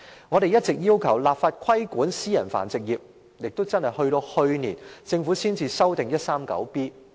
我們一直要求立法規管私人繁殖業，而政府直至去年才修訂第 139B 章。